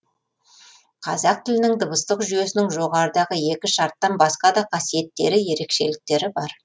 қазақ тілінің дыбыстық жүйесінің жоғарыдағы екі шарттан басқа да қасиеттері ерекшеліктері бар